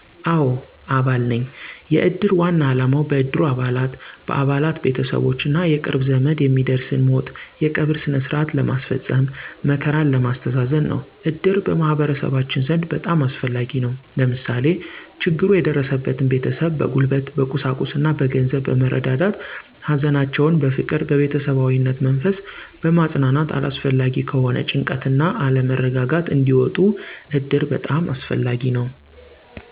አዎ አባል ነኝ። የእድር ዋና አላማው በእድሩ አባላት፣ በአባላት፣ ቤተሠቦች እና የቅርብ ዘመድ የሚደርስን ሞት የቀብር ስነስርዓት ለመስፈፀም፣ መከራን ለማስተዛዘን ነው። እድር በማህበረሠባችን ዘንድ በጣም አስፈላጊ ነው። ለምሳሌ፦ ችግሩ የደረሠበትን ቤተሠብ በጉልበት፣ በቁሳቁስ እና በገንዘብ በመርዳዳት ሀዘናቸውን በፍቅር በቤተሠባዊነት መንፈስ በማፅናናት አላስፈላጊ ከሆነ ጭንቀት እና አለመረጋጋት እንዲወጡ እድር በጣም አስፈላጊ ነው